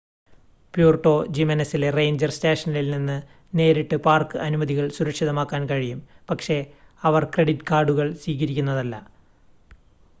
Puerto ജിമെനെസിലെ ranger സ്റ്റേഷനിൽ നിന്ന് നേരിട്ട് പാർക്ക് അനുമതികൾ സുരക്ഷിതമാക്കാൻ കഴിയും പക്ഷേ അവർ ക്രെഡിറ്റ് കാർഡുകൾ സ്വീകരിക്കുന്നില്ല